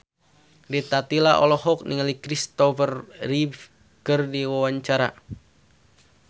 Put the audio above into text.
Rita Tila olohok ningali Christopher Reeve keur diwawancara